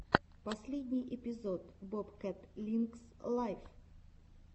последний эпизод бобкэт линкс лайв